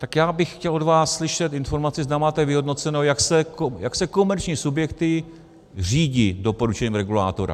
Tak já bych chtěl od vás slyšet informaci, zda máte vyhodnoceno, jak se komerční subjekty řídí doporučením regulátora.